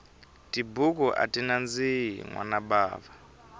tibuku ati nandziki nwana bava